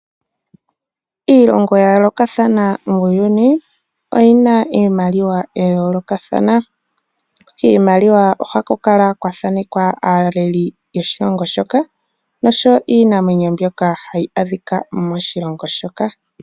Iilongo ya yoolokathana muuyuni oyi na iimaliwa ya yoolokathana. Kiimaliwa oha ku kala kwa thaneka aaleli yoshilongo shoka, osho wo iinamwenyo mbyoka yili moshilongo shoka.